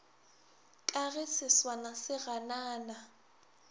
ka ge seswana se ganana